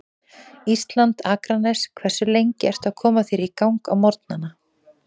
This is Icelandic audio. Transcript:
Ísland, Akranes Hversu lengi ertu að koma þér í gang á morgnanna?